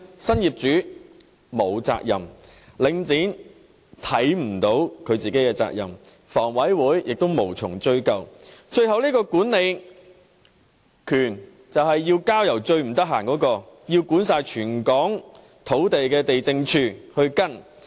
新業主沒有責任，領展看不到它自己的責任，而房委會亦無從追究，最後這個管理權問題便要交由最忙碌，須管理全港土地的地政總署跟進。